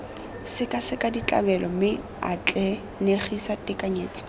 sekaseka ditlabelo mme atlenegise tekanyetso